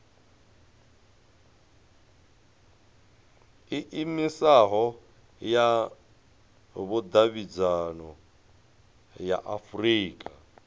iimisaho ya vhudavhidzano ya afurika